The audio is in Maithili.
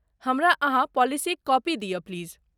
हमरा अहाँ पॉलिसीक कॉपी दिय प्लीज।